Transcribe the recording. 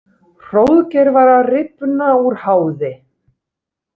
Hróðgeir var að rifna úr háði.